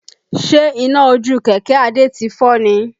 Ṣe iná ojú kẹ̀kẹ́ Adé ti fọ́ ni?